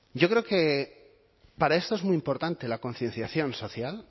yo creo que para esto es muy importante la concienciación social